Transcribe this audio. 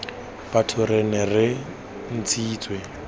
batho re nne re ntshitse